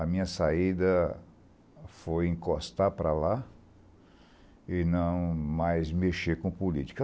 A minha saída foi encostar para lá e não mais mexer com política.